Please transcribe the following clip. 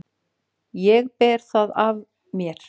Ég ber það af mér.